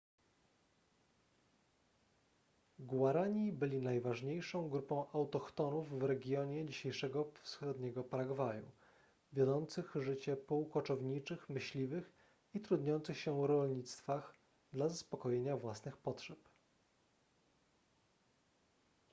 guarani byli najważniejszą grupą autochtonów w regionie dzisiejszego wschodniego paragwaju wiodących życie półkoczowniczych myśliwych i trudniących się rolnictwach dla zaspokojenia własnych potrzeb